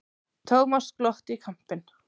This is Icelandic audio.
Thomas glotti í kampinn.